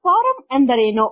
form ಎಂದರೇನು